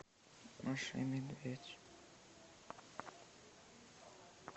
маша и медведь